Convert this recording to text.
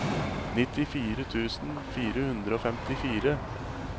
nittifire tusen fire hundre og femtifire